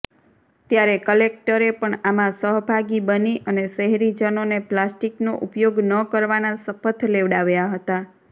ત્યારે કલેકટરે પણ આમાં સહભાગી બની અને શહેરીજનોને પ્લાસ્ટિકનો ઉપયોગ ન કરવાના શપથ લેવડાવ્યા હતા